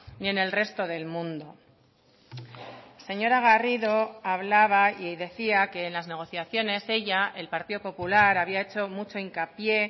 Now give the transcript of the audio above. ni en el resto del mundo señora garrido hablaba y decía que en las negociaciones ella el partido popular había hecho mucho hincapié